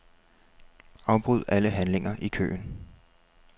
Afbryd alle handlinger i køen.